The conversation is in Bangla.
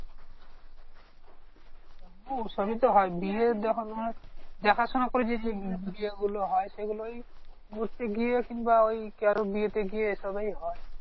ও সবি তো হয় বিয়ে যখন তোমার দেখাশুনা করে যে যে বিয়েগুলো হয়। সেগুলোই করতে গিয়ে কিংবা ওই কারোর বিয়েতে গিয়ে এসবই হয়।